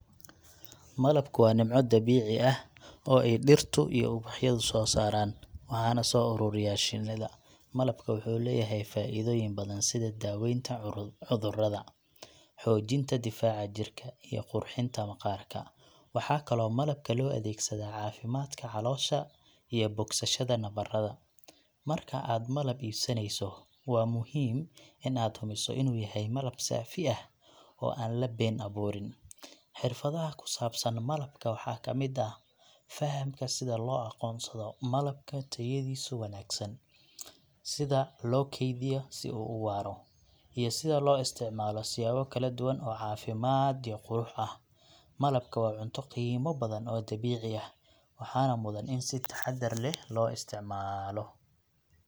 Malabku waa nimco dabiici ah oo ay dhirta iyo ubaxyadu soo saaraan, waxaana soo ururiya shinnida. Malabka wuxuu leeyahay faa’iidooyin badan sida daaweynta cudurrada, xoojinta difaaca jirka, iyo qurxinta maqaarka. Waxaa kaloo malabka loo adeegsadaa caafimaadka caloosha iyo bogsashada nabarada. Marka aad malab iibsanayso, waa muhiim in aad hubiso inuu yahay malab saafi ah oo aan la been-abuurin. Xirfadaha ku saabsan malabka waxaa ka mid ah fahamka sida loo aqoonsado malabka tayadiisu wanaagsan sida loo kaydiyo si uu u waara, iyo sida loo isticmaalo siyaabo kala duwan oo caafimaad iyo qurux ah. Malabka waa cunto qiimo badan oo dabiici ah, waxaana mudan in si taxadar leh loo isticmaalo.